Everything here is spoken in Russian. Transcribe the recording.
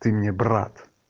ты мне брат